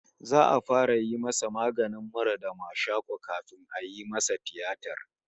His cold and catarrh will be treated first before the surgery